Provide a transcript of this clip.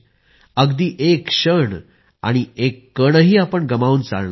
अगदी एक क्षण आणि एक कणही आपण गमावून चालणार नाही